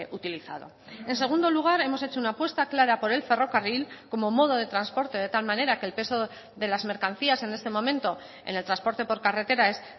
utilizado en segundo lugar hemos hecho una apuesta clara por el ferrocarril como modo de transporte de tal manera que el peso de las mercancías en este momento en el transporte por carretera es